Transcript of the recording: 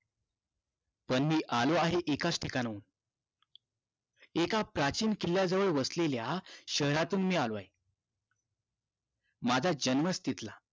पण मी आलो आहे एकाच ठिकाणाहून एका प्राचीन किल्ल्याजवळ वसलेल्या शहरातून मी आलो आहे माझा जमीनच तिथला